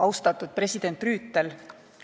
Austatud president Rüütel!